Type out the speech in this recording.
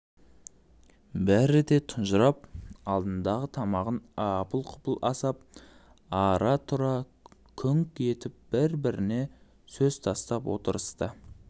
бәрі де тұнжырап алдындағы тамағын апыл-құпыл асап ара-тұра күңк етіп бір-біріне сөз тастап отырысты